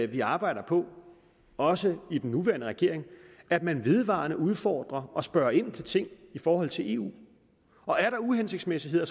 vi arbejder på også i den nuværende regering at man vedvarende udfordrer og spørger ind til ting i forhold til eu og er der uhensigtsmæssigheder